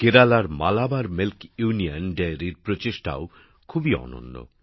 কেরালার Malabar milk union ডেইরির প্রচেষ্টাও খুব অনন্য